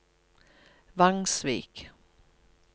Vangsvik